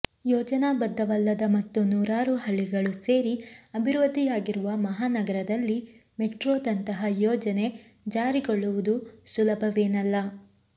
ಯೋಜನಾಬದ್ಧವಲ್ಲದ ಮತ್ತು ನೂರಾರು ಹಳ್ಳಿಗಳು ಸೇರಿ ಅಭಿವೃದ್ಧಿಯಾಗಿರುವ ಮಹಾನಗರದಲ್ಲಿ ಮೆಟ್ರೊದಂತಹ ಯೋಜನೆ ಜಾರಿಗೊಳ್ಳುವುದು ಸುಲಭವೇನಲ್ಲ